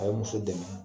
A ye muso dɛmɛ